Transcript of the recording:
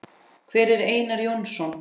Hver er Einar Jónsson?